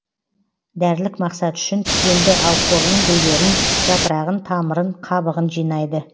дәрілік мақсат үшін тікенді алхорының гүлдерін жапырағын тамырын қабығын жинайды